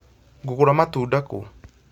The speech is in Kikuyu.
Ngũgũra matunda kũũ?